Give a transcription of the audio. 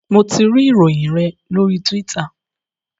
Mo tí rí Ìròyìn yén lori Twitter.